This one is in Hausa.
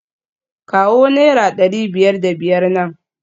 Kawo naira dari biyar da biyar nan